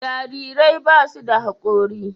jarirai ba su da hakori